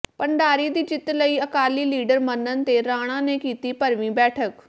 ਭੰਡਾਰੀ ਦੀ ਜਿੱਤ ਲਈ ਅਕਾਲੀ ਲੀਡਰ ਮੰਨਣ ਤੇ ਰਾਣਾ ਨੇ ਕੀਤੀ ਭਰਵੀਂ ਬੈਠਕ